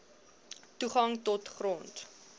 toegang tot grond